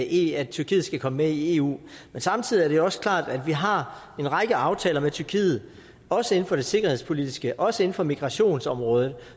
i at tyrkiet skal komme med i eu men samtidig er det også klart at vi har en række aftaler med tyrkiet også inden for det sikkerhedspolitiske også inden for migrationsområdet